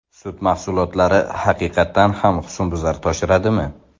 Sut mahsulotlari haqiqatan ham husnbuzar toshiradimi?.